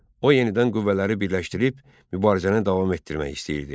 O yenidən qüvvələri birləşdirib mübarizəni davam etdirmək istəyirdi.